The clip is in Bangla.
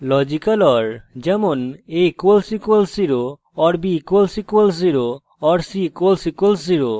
logical or